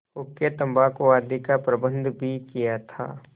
हुक्केतम्बाकू आदि का प्रबन्ध भी किया था